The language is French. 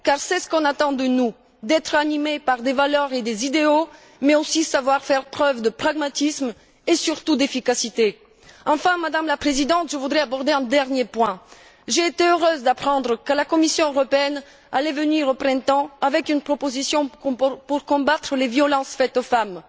car c'est ce qu'on attend de nous d'être animés par des valeurs et des idéaux mais, aussi, savoir faire preuve de pragmatisme et surtout d'efficacité. Enfin, Madame la Présidente, je voudrais aborder un dernier point j'ai été heureuse d'apprendre que la Commission européenne allait faire au printemps une proposition pour combattre les violences faites aux femmes.